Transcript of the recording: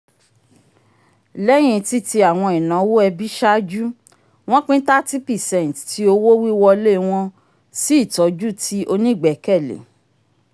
lẹyìn titi awọn inawo ẹbi ṣáájú wọn pin thirty percent ti owo-wiwọle wọn si itọju ti onigbẹkẹle